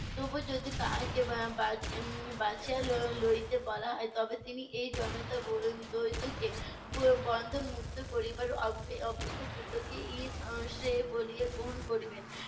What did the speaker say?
তবু যদি তাহাকে উম বাচ~ উম বাছিয়া ল~ লইতে বলা হয়, তবে তিনি এই জনতা কে ব~ বন্ধনমুক্ত করিবার অপ~ অপেক্ষা যুদ্ধকেই ই এর শ্রেয় বলিয়া গ্রহণ করিবেন।